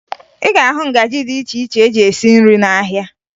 Ị ga-ahụ ngaji dị iche iche eji esi nri n'ahịa